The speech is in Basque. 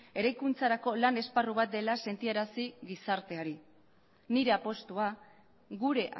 eraikuntzarako lan esparru bat dela sentiarazi gizarteari nire apustua gure